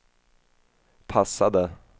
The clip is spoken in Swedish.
passade